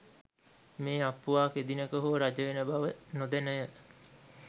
මේ අප්පුවා කෙදිනක හෝ රජවෙන බව නොදැනය.